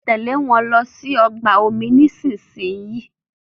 Tèlé wón ló sì ọgbà omi nísìsiyìí!